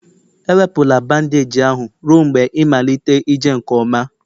ewepụla bandeeji ahụ ruo mgbe ịmalite ije nke ọma